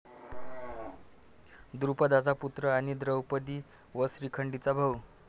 द्रुपदाचा पुत्र आणि द्रौपदी व शिखंडीचा भाऊ.